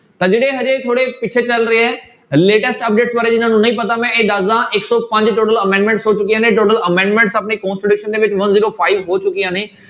ਤਾਂ ਜਿਹੜੇ ਹਜੇ ਥੋੜ੍ਹੇ ਪਿੱਛੇ ਚੱਲ ਰਹੇ ਹੈ latest update ਬਾਰੇ ਜਿਹਨਾਂ ਨੂੰ ਨਹੀਂ ਪਤਾ ਮੈਂ ਇਹ ਦੱਸਦਾਂ, ਇੱਕ ਸੌ ਪੰਜ total amendments ਹੋ ਚੁੱਕੀਆਂ ਨੇ total amendments ਆਪਣੇ constitution ਦੇ ਵਿੱਚ one zero five ਹੋ ਚੁੱਕੀਆਂ ਨੇ।